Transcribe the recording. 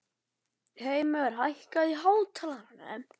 Hreimur, hækkaðu í hátalaranum.